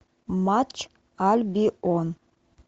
матч альбион